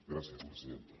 gràcies presidenta